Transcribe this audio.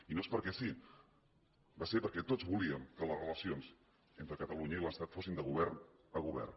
i no és perquè sí va ser perquè tots volíem que les relacions entre catalunya i l’estat fossin de govern a govern